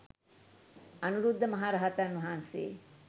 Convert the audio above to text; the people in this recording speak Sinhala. අනුරුද්ධ මහ රහතන් වහන්සේ